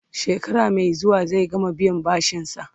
shekara Mai zuwa zai gama biyan bashinsa